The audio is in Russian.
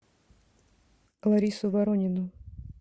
ларису воронину